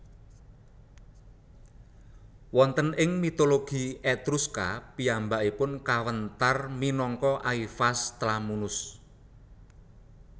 Wonten ing mitologi Etruska piyambakipun kawéntar minangka Aivas Tlamunus